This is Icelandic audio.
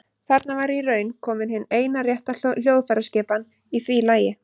Þarna var í raun komin hin eina rétta hljóðfæraskipan í því lagi.